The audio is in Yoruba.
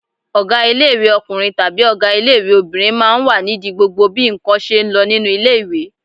Ọgá ilé-ìwé ọkùnrin àbí ọgá ilé-ìwé obìnrin máa ń wà nídi gbogbo àwọn bí ǹkan ṣe ń lọ nínú ilé-ìwé